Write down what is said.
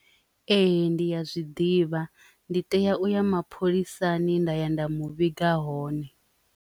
Ee, ndi ya zwiḓivha ndi tea u ya mapholisani nda ya nda mu vhinga hone.